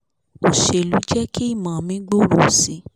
òṣèlú jẹ́ kí ìmọ̀ mi gbòòrò síi